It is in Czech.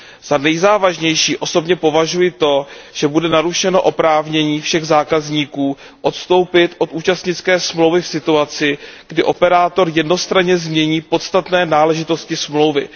Za nejzávažnější osobně považuji to, že bude narušeno oprávnění všech zákazníků odstoupit od účastnické smlouvy v situaci, kdy operátor jednostranně změní podstatné náležitosti smlouvy.